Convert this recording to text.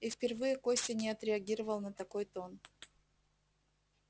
и впервые костя не отреагировал на такой тон